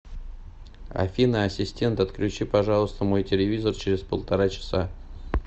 афина ассистент отключи пожалуйста мой телевизор через полтора часа